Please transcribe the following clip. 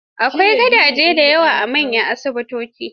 Akwai gadaje da yawa a manyan asibitoci.